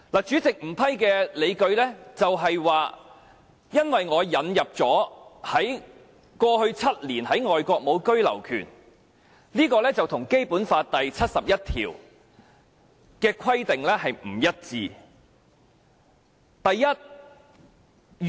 主席不批准的理據是，因為我引入了過去7年在外國無居留權的這項條件，這跟《基本法》第七十一條的規定不一致。